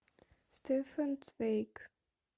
стефан цвейг